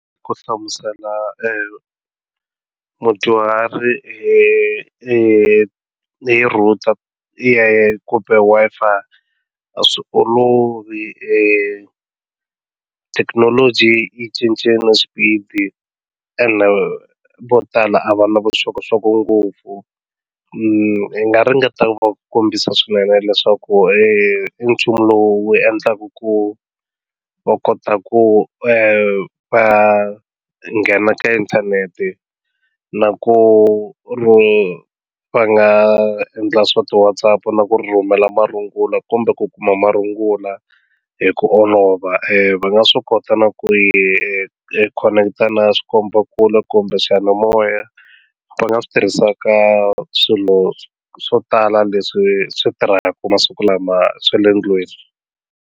Ku hlamusela mudyuhari hi hi hi router i kumbe Wi-Fi a swi olovi thekinoloji yi cince na xipidi ene vo tala a va na vuxokoxoko ngopfu ni nga ringeta ku va kombisa swinene leswaku i nchumu lowu endlaka ku va kota ku va nghena ka inthanete na ku va nga endla swa ti WhatsApp na ku rhumela marungula kumbe ku kuma marungula hi ku olova va nga swi kota na ku hi hi khoneketa na swikomba kule kumbe swiyanimoya va nga swi tirhisa ka swilo swo tala leswi swi tirhaku masiku lama swa le ndlwini.